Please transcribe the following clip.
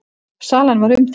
Salan var umdeild.